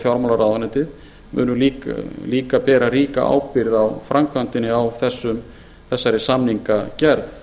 fjármálaráðuneytið munu líka bera ríka ábyrgð á framkvæmdinni á þessari samningagerð